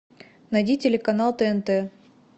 найди телеканал тнт